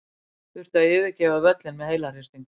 Þurfti að yfirgefa völlinn með heilahristing.